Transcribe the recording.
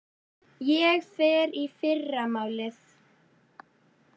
Ég fer í fyrramálið.